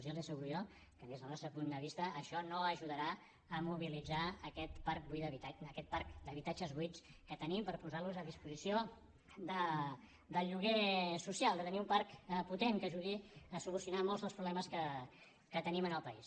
ja els asseguro jo que des del nostre punt de vista això no ajudarà a mobilitzar aquest parc d’habitatges buits que tenim per posarlos a disposició del lloguer social de tenir un parc potent que ajudi a solucionar molts dels problemes que tenim al país